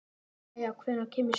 Kaía, hvenær kemur sjöan?